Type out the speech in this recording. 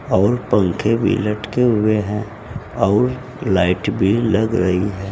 और पंखे की लटके हुए हैं और लाइट भी लग रही है।